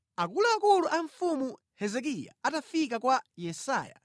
Akuluakulu a mfumu Hezekiya atafika kwa Yesaya,